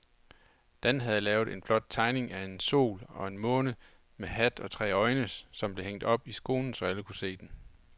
Dan havde lavet en flot tegning af en sol og en måne med hat og tre øjne, som blev hængt op i skolen, så alle kunne se den.